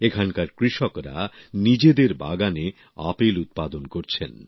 এখানকার কৃষকরা নিজেদের বাগানে আপেল উৎপাদন করছেন